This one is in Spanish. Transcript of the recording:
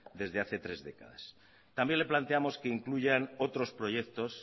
desde hace tres décadas también le planteamos que incluyan otros proyectos